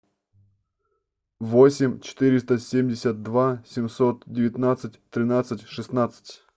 восемь четыреста семьдесят два семьсот девятнадцать тринадцать шестнадцать